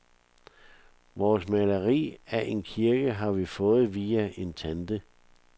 Vores maleri af en kirke har vi fået via en tante.